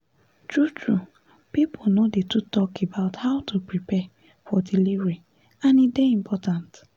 true true people no dey too talk about how to prepare for delivery and e dey important